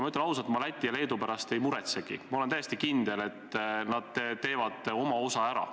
Ma ütlen ausalt, ma Läti ja Leedu pärast ei muretsegi, ma olen täiesti kindel, et nad teevad oma osa ära.